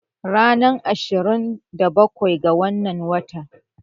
Ranar ashirin da bakwai ga wannan watan